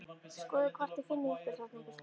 Skoðið hvort þið finnið ykkur þarna einhvers staðar